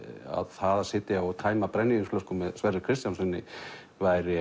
það að sitja og tæma brennivínsflösku með Sverri Kristjánssyni væri